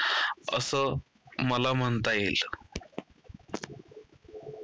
असं मला म्हणता येईल.